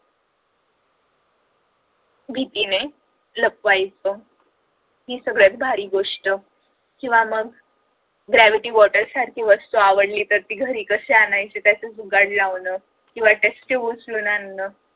भीतीने लपवायच ही सगळ्यात भारी गोष्ट किंवा मग gravity water सारखी वस्तू आवडली तर ती घरी कशी आणायची त्याच जुगाड लावल किंवा ती test tube उचलून आणण